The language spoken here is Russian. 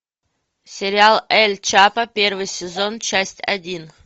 сериал эль чапо первый сезон часть один